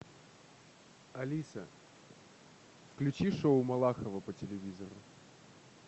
алиса включи шоу малахова по телевизору